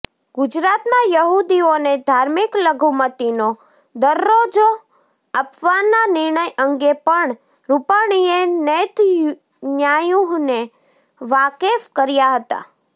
ગુજરાતમાં યહૂદીઓને ધાર્મિક લઘુમતીનો દરજ્જો આપવાના નિર્ણય અંગે પણ રૂપાણીએ નેતન્યાહુને વાકેફ કર્યા હતા